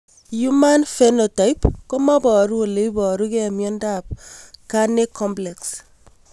Human Phenotype koparu ole iparukei miondop Carney complex?